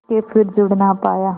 के फिर जुड़ ना पाया